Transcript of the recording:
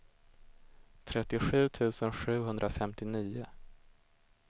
trettiosju tusen sjuhundrafemtionio